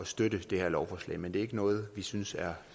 støtte det her lovforslag men det er ikke noget vi synes er